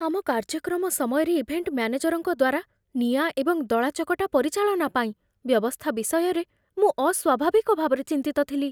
ଆମ କାର୍ଯ୍ୟକ୍ରମ ସମୟରେ ଇଭେଣ୍ଟ ମ୍ୟାନେଜର୍‌ଙ୍କ ଦ୍ୱାରା ନିଆଁ ଏବଂ ଦଳାଚକଟା ପରିଚାଳନା ପାଇଁ ବ୍ୟବସ୍ଥା ବିଷୟରେ ମୁଁ ଅସ୍ୱାଭାବିକ ଭାବରେ ଚିନ୍ତିତ ଥିଲି